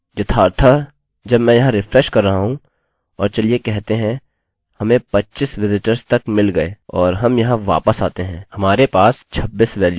यथार्थःजब मैं यहाँ रिफ्रेशrefresh कर रहा हूँ और चलिए कहते हैंहमें 25 विजिटर्स तक मिल गये और हम यहाँ वापस आते हैंहमारे पास 26 वेल्यू है